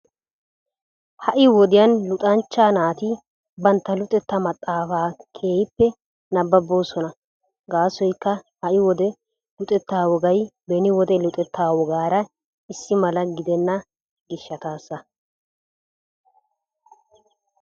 Ha'i wodiyan luxanchcha naati bantta luxetta maxaafa keehippe nabbaboosona. Gaasoykka ha'i wode luxetta wogay beni wode luxetta wogaara issi mala gidena gishshaasa.